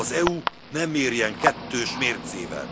Az EU ne mérjen kettős mércével!